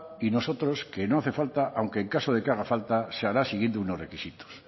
y nosotros que no hace falta aunque en caso de que haga falta se hará siguiendo unos requisitos